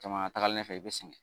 Jamana taagalen ɲɛ fɛ i bɛ sɛgɛn.